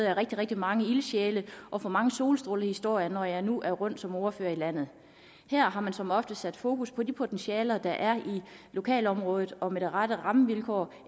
rigtig rigtig mange ildsjæle og får mange solstrålehistorier når jeg nu er rundt som ordfører i landet her har man som oftest sat fokus på de potentialer der er i lokalområdet og med de rette rammevilkår